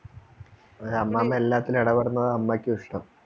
അതുപോലെ അമ്മാമ എല്ലാത്തിലും എടപെടുന്നതാ അമ്മക്കുഷ്ടം